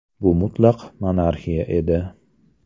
Bu mutlaq monarxiya edi.